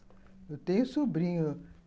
Eu tenho sobrinhos.